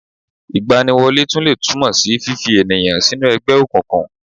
Ìgbaniwọlé tún lè tún mó sí fífa ènìyàn sínú ẹgbẹ́ òkùnkùn